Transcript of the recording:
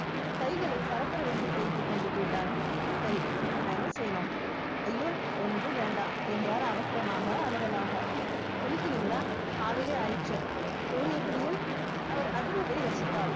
கைகளை பரபரவென்று தேய்த்துக் கொண்டு கேட்டாள் சரி இப்ப நான் என்ன செய்யணும் ஐயோ ஒன்றும் வேண்டாம் என்றார் அவசரமாக அலறலாக குளிக்கிறீங்களா காலையிலேயே ஆயிடுச்சு சூரியக்குடியில் அவர் அதிர்வதை ரசித்தாள்.